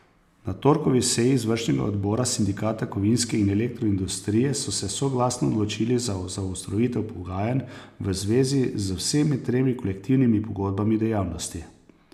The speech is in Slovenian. Na torkovi seji izvršnega odbora Sindikata kovinske in elektroindustrije so se soglasno odločili za zaostritev pogajanj v zvezi z vsemi tremi kolektivnimi pogodbami dejavnosti.